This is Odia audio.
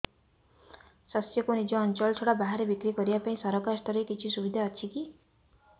ଶସ୍ୟକୁ ନିଜ ଅଞ୍ଚଳ ଛଡା ବାହାରେ ବିକ୍ରି କରିବା ପାଇଁ ସରକାରୀ ସ୍ତରରେ କିଛି ସୁବିଧା ଅଛି କି